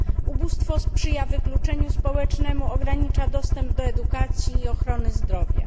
Ubóstwo sprzyja wykluczeniu społecznemu, ogranicza dostęp do edukacji i ochrony zdrowia.